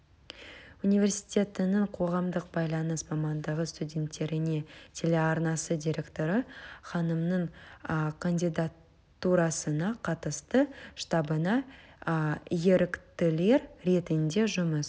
университеттіңң қоғамдық байланыс мамандығы студенттеріне телеарнасы директоры ханымның кандидатурасына қатысты штабына еріктілер ретінде жұмыс